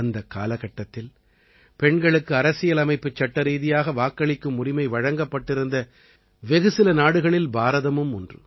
அந்தக் காலகட்டத்தில் பெண்களுக்கு அரசியலமைப்புச் சட்டரீதியாக வாக்களிக்கும் உரிமை வழங்கப்பட்டிருந்த வெகு சில நாடுகளில் பாரதமும் ஒன்று